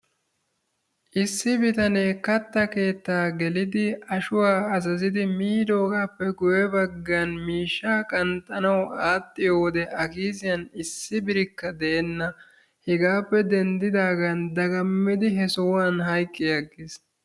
issi bitanee kattaa keettaa gelidi ashwuaa azazidi miidogaappe guyye baggan mishshaa qanxxanawu aadhdhiyo wode a kiisiyan issi birikka deenna. hegaappe denddidaagan dagammidi sohuwaan hayqqi agiis.